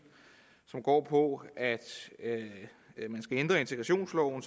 som går ud på at man skal ændre integrationsloven